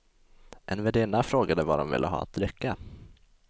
En värdinna frågade vad de ville ha att dricka.